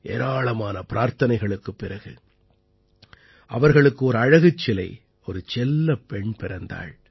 ஏராளமான பிரார்த்தனைகளுக்குப் பிறகு அவர்களுக்கு ஒரு அழகுச் சிலை ஒரு செல்லப் பெண் பிறந்தாள்